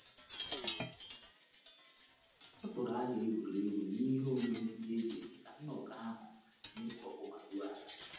Ọ tụrụ aro egwuregwu na ihe omume ndi eji mee ka nnọkọ ahu na ekpo ọkụ ma ruo ala